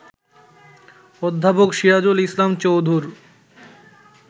অধ্যাপক সিরাজুল ইসলাম চৌধুর